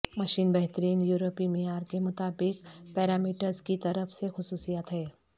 machine بہترین یورپی معیار کے مطابق پیرامیٹرز کی طرف سے خصوصیات ہے